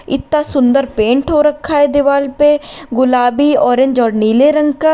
इतना सुंदर पेंट हो रखा है दीवाल पे गुलाबी ऑरेंज और नीले रंग का--